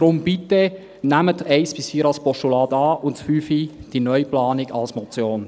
Daher bitte: Nehmen Sie die Punkte 1 bis 4 als Postulat an und den Punkt 5, die Neuplanung, als Motion.